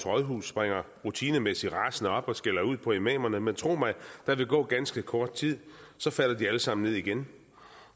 rådhus springer rutinemæssigt rasende op og skælder ud på imamerne men tro mig der vil gå ganske kort tid så falder de alle sammen ned igen